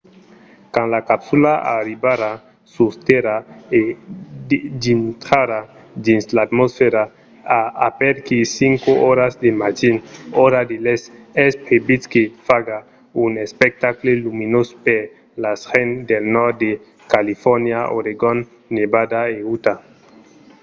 quand la capsula arribarà sus tèrra e dintrarà dins l’atmosfèra a aperaquí 5 oras del matin ora de l'èst es previst que faga un espectacle luminós per las gents del nòrd de califòrnia oregon nevada e utah